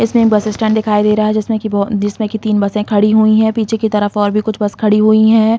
इसमें bus stand दिखाई दे रहा है जिसमें कि बहो जिसमें तीन बसें ख़ड़ी हुई हैं पीछे की तरफ और भी कुछ बस खड़ी हुई हैं।